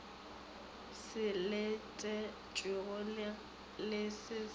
se letetšwego le se se